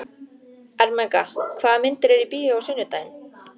Ermenga, hvaða myndir eru í bíó á sunnudaginn?